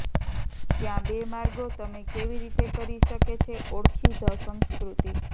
ત્યાં બે માર્ગો તમે કેવી રીતે કરી શકે છે ઓળખી ધ સંસ્કૃતિ